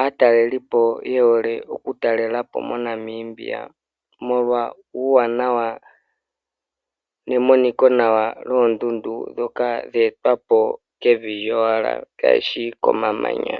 aatalelipo yehole oku talelapo moNamibia molwa uuwanawa nemoniko nawa lwondundu ndhoka dhe etwa po kevi lyowala kaishi komamanya.